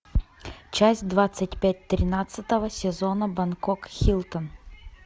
часть двадцать пять тринадцатого сезона бангкок хилтон